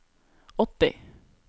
åtti